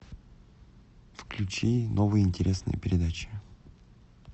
включи новые интересные передачи